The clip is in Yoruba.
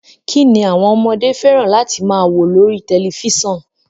Kín ni àwọn ọmọdé fẹ́ràn láti máa wo lórí tẹ̀lifísàn?